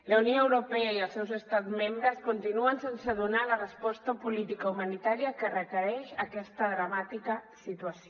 la unió europea i els seus estats membres continuen sense donar la resposta política i humanitària que requereix aquesta dramàtica situació